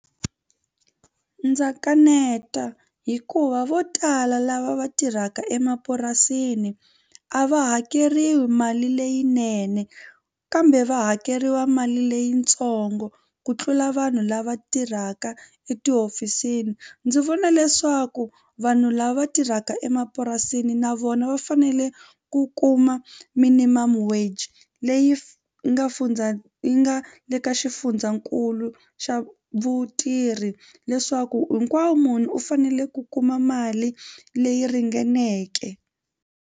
Ndza kaneta hikuva vo tala lava va tirhaka emapurasini a va hakeriwi mali leyinene kambe va hakeriwa mali leyitsongo ku tlula vanhu lava tirhaka etihofisini. Ndzi vona leswaku vanhu lava tirhaka emapurasini na vona va fanele ku kuma minimum wage leyi leyi nga fundza yi nga le ka xifundzankulu xa vutirhi leswaku hinkwawo munhu u fanele ku kuma mali leyi ringaneke.